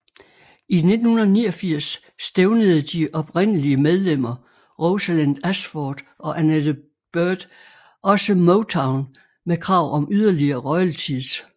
I 1989 stævnede de oprindelige medlemmer Rosalind Ashford og Annette Beard også Motown med krav om yderligere royalties